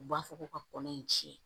U b'a fɔ ko ka kɔnɔ in tiɲɛ